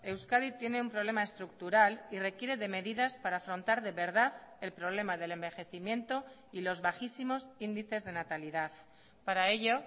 euskadi tiene un problema estructural y requiere de medidas para afrontar de verdad el problema del envejecimiento y los bajísimos índices de natalidad para ello